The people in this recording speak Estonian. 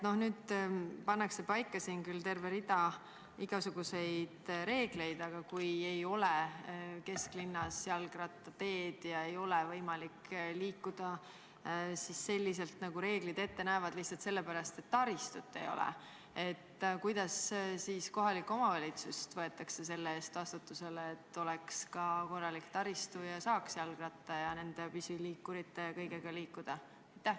Nüüd pannakse siin paika küll terve rida igasuguseid reegleid, aga kui kesklinnas ei ole jalgrattateid ega ole võimalik liikuda selliselt, nagu reeglid ette näevad, lihtsalt sellepärast, et taristut ei ole, siis kuidas kohalik omavalitsus vastutusele võetakse, selleks et oleks ka korralik taristu ja saaks jalgratta ja nende pisiliikurite ja kõigega liikuda?